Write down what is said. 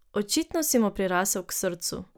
Očitno si mu prirasel k srcu.